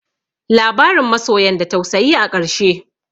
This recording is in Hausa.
Labarin masoyan da tausayi a ƙarshe.